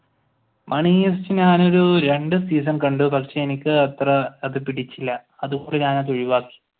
money heist ഞാൻ ഒരു രണ്ടു സീസൺ കണ്ടു പക്ഷെ എനിക്ക് അത് അത്ര പിടിച്ചില്ല ഞാൻ ഒഴിവാക്കി.